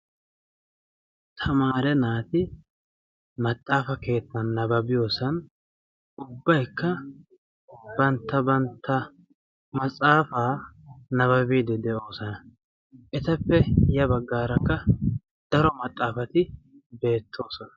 Tamaare naati maxaafa keettan nabaabiyoosan ubbaykka bantta bantta maxaafaa nababiidi de'oosona. etappe ya baggaarakka daro maxaafati beettoosona.